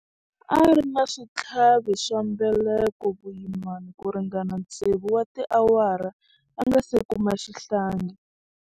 A ri na switlhavi swa mbeleko vuyimani ku ringana tsevu wa tiawara a nga si kuma xihlangi.